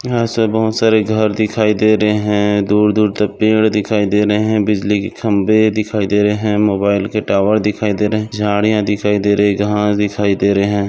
यहा से बहुत सारे घर दिखाई दे रहे है दूर दूर तक पेड़ दिखाई दे रहे है बिजली की खंभे दिखाई दे रहे है मोबाइल के टॉवर दिखाई दे रहे झाड़िया दिखाई दे रही घास दिखाई दे रही है।